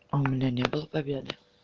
а у меня не было победы